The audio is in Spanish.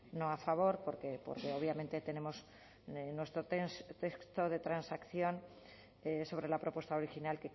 no a favor porque obviamente tenemos nuestro texto de transacción sobre la propuesta original